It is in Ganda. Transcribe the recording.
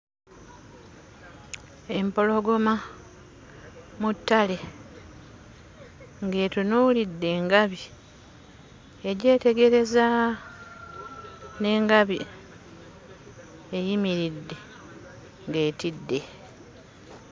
Empologoma mu ttale ng'etunuulidde engabi egyetegereza, n'engabi eyimiridde ng'etidde.